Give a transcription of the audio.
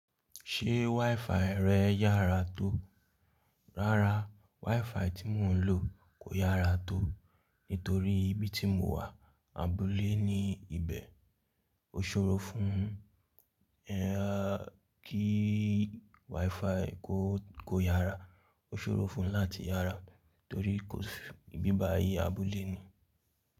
Ṣé WiFi rẹ̀ yára tó? Rárá, WiFi tí mò ń lò kò yára tó, nítorí ibi tí mo wà, abúlé ni ibẹ̀. Ó ṣòro fún kí WiFi kó, kó yára. Ó ṣòro fún ún láti yára torí kò sí ìbíba yí abúlé ni.